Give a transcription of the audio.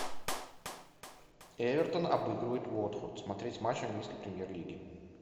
эвертон обыгрывает уотфорд смотреть матч английской премьер лиги